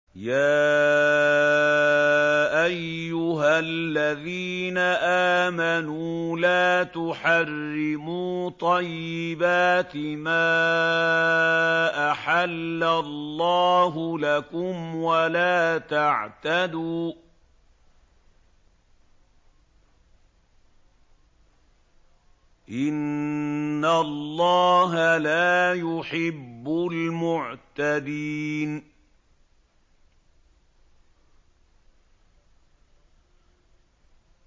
يَا أَيُّهَا الَّذِينَ آمَنُوا لَا تُحَرِّمُوا طَيِّبَاتِ مَا أَحَلَّ اللَّهُ لَكُمْ وَلَا تَعْتَدُوا ۚ إِنَّ اللَّهَ لَا يُحِبُّ الْمُعْتَدِينَ